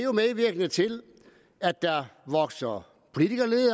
medvirkende til at der vokser politikerlede